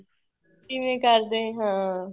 ਕਿਵੇਂ ਕਰਦੇ ਹਾਂ